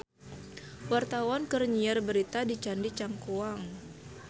Wartawan keur nyiar berita di Candi Cangkuang